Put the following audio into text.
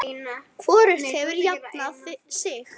Hvorugt hefur jafnað sig.